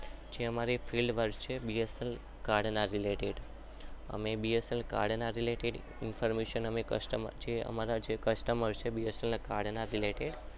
અમે B S N L garden related